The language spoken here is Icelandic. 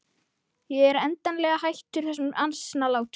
Ég er endanlega hættur þessum asnalátum.